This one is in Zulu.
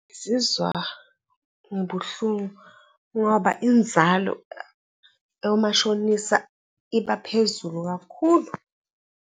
Ngizizwa ngibuhlungu ngoba inzalo yomashonisa iba phezulu kakhulu.